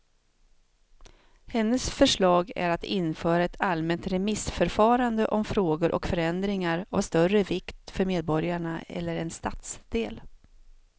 Hennes förslag är att införa ett allmänt remissförfarande om frågor och förändringar av större vikt för medborgarna eller en stadsdel.